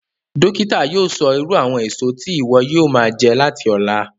Dókítà yóò sọ irú àwọn èso tí ìwọ yóò máa jẹ láti ọ̀la